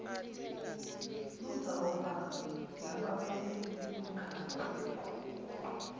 luzawuba nabameli bemikhakha